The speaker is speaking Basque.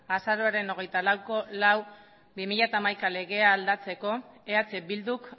azaroaren hogeita laueko lau barra bi mila hamaika legea aldatzeko eh bilduk